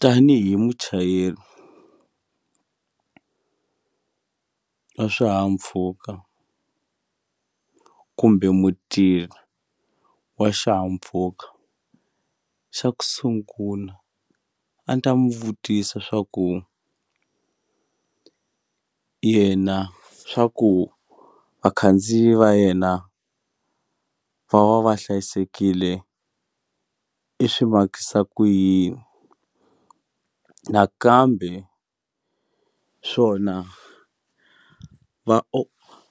Tanihi muchayeri wa swihahampfhuka kumbe mutirhi wa xihahampfhuka xa ku sungula a ni ta mu vutisa swa ku yena swa ku vakhandziyi va yena va va va hlayisekile i swi makisa ku yini nakambe swona va